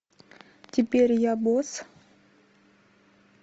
теперь я босс